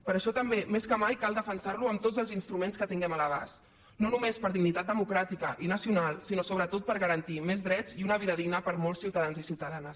per això també més que mai cal defensar lo amb tots els instruments que tinguem a l’abast no només per dignitat democràtica i nacional sinó sobretot per garantir més drets i una vida digna per a molts ciutadans i ciutadanes